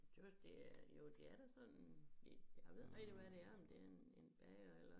Tøs det er jo det er da sådan en jeg ved ikke rigtig hvad det er men det en en bager eller